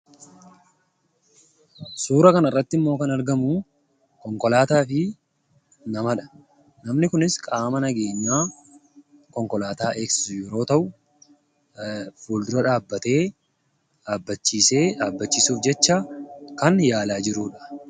Suura kanarratti immoo kan argamu konkolaataa fi namadha. Namni kunis qaama nageenyaa konkolaataa eegsisu yeroo ta'u, fuuldura dhaabbatee dhaabbachiisuuf jecha kan yaalaa jirudha.